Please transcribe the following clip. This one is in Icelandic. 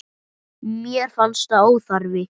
Mér fannst það óþarfi.